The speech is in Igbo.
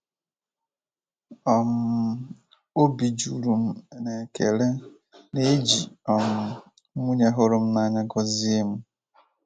um Obi juru m n'ekele na eji um nwunye hụrụ m n'anya gọzie m.